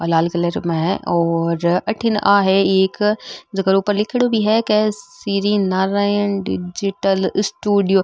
आ लाल कलर में है और अथीन आहे एक जेका के ऊपर लिखेंडो भी है क श्री नारायण डिजिटल स्टीडियो ।